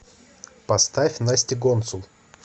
поставь настя гонцул